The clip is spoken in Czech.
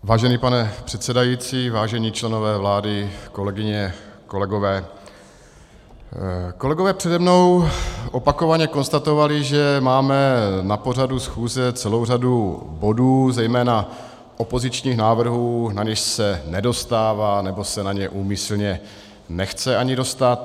Vážený pane předsedající, vážení členové vlády, kolegyně, kolegové, kolegové přede mnou opakovaně konstatovali, že máme na pořadu schůze celou řadu bodů, zejména opozičních návrhů, na něž se nedostává, nebo se na ně úmyslně nechce ani dostat.